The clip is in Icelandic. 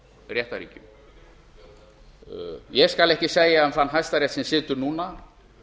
réttarríkjum ég skal ekki segja um þann hæstarétt sem situr núna